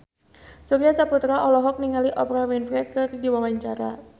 Surya Saputra olohok ningali Oprah Winfrey keur diwawancara